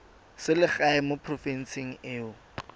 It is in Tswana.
selegae mo porofenseng e o